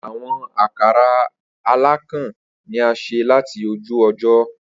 Awọn akara alakan ni a ṣe lati oju ojo.